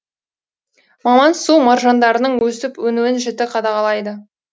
маман су маржандарының өсіп өнуін жіті қадағалайды